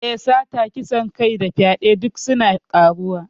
Eh, Sata, kisan kai da fyaɗe duk suna ƙaruwa.